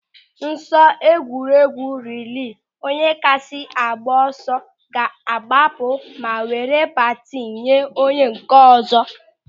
N'ọsọ egwuregwu rilee, onye kasị agba ọsọ ga-agbapụ ma were batini nye onye nke ọzọ.